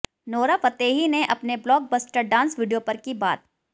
Nora Fatehi ने अपने blockbuster dance video पर की बात